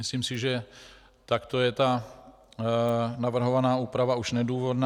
Myslím si, že takto je ta navrhovaná úprava už nedůvodná.